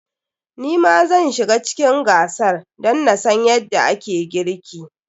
Ni ma zan shiga cikin gasar dan na san yadda ake girki.